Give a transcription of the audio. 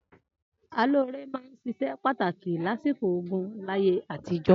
Alóre máa ń ṣiṣẹ́ pàtàkì lásìkò ogún láyé àtijọ́.